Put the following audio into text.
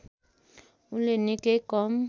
उनले निकै कम